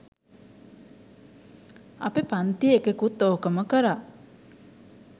අපෙ පන්තියෙ එකෙකුත් ඕකම කරා.